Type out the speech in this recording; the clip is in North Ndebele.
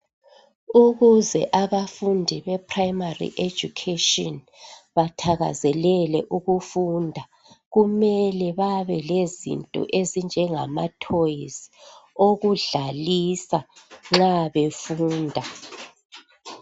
Ukuze abafundi be primary education bathakazelele ukufunda kumele babe lezinto ezinjengama toys okudlalisa nxa befunda